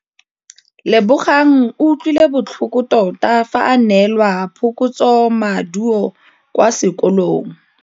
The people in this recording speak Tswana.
Lebogang o utlwile botlhoko tota fa a neelwa phokotsômaduô kwa sekolong.